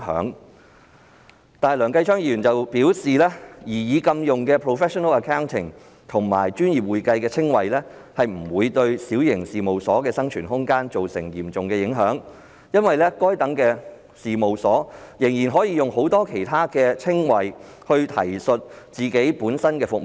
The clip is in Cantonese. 然而，梁繼昌議員表示，禁用 "professional accounting" 及"專業會計"稱謂的建議不會對小型事務所的生存空間造成嚴重影響，因為該等事務所仍可使用很多其他稱謂提述本身的服務。